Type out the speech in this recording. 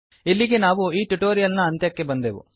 ಇಲ್ಲಿಗೆ ನಾವು ಈ ಟುಟೋರಿಯಲ್ ನ ಅಂತ್ಯಕ್ಕೆ ಬಂದೆವು